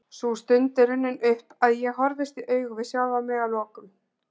Sú stund er runnin upp að ég horfist í augu við sjálfan mig að lokum.